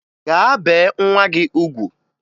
Gaa bee nwa gị ugwu!